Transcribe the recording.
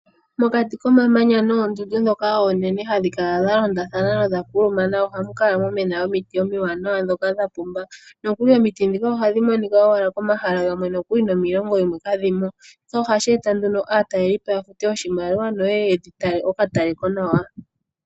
Mokati komamanya noondundu ndhoka oonene hadhi kala dha londathana nodha kulumana ohamu kala mwa mwena omiti omiwanawa ndhoka dha pumba. Nokuli omiti ndhika ohadhi monika owala pomahala gamwe nokuli nomiilongo yimwe kadhi mo. Shika ohashi eta nduno aatalelipo ya fute oshimaliwa noye ye ye dhi tale okatalekonawa.